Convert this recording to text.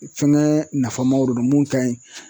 Fɛngɛ nafamaw de don mun ka ɲi.